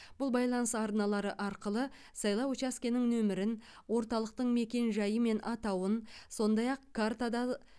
бұл байланыс арналары арқылы сайлау учаскенің нөмірін орталықтың мекенжайы мен атауын сондай ақ картада